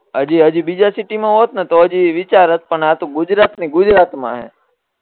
હજી હજી બીજા સીટી મા હોત ને તો હજીય વિચારત પણ આ તો ગુજરાત ની ગુજરાત મા હે